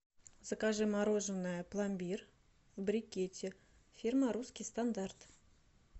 закажи мороженое пломбир в брикете фирма русский стандарт